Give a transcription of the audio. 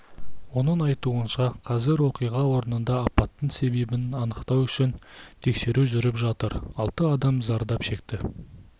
оның айтуынша қазір оқиға орнында апаттың себебін анықтау үшін тексеру жүріп жатыр алты адам зардап шекті